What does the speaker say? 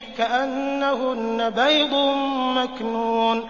كَأَنَّهُنَّ بَيْضٌ مَّكْنُونٌ